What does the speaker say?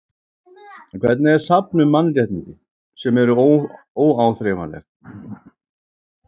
En hvernig er safn um mannréttindi, sem eru óáþreifanleg?